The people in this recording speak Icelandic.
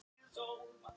Eva rétti Adam.